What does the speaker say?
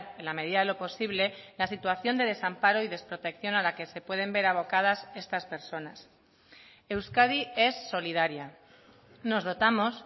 en la medida de lo posible la situación de desamparo y desprotección a la que se pueden ver abocadas estas personas euskadi es solidaria nos dotamos